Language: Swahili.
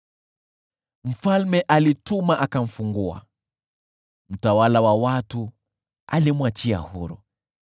Mfalme alituma watu wakamfungua, mtawala wa watu alimwachia huru.